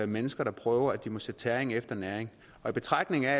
mennesker der prøver det at måtte sætte tæring efter næring og i betragtning af at